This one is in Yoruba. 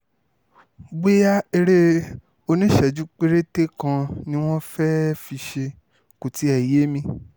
bóyá eré oníṣẹ́jú péréte kan ni wọ́n fẹ́ẹ́ fi ṣe kó tiẹ̀ yé mi